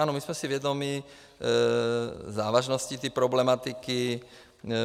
Ano, my jsme si vědomi závažností té problematiky.